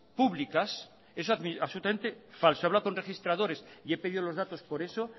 públicas eso es absolutamente falso he hablado con registradores y he pedido los datos por eso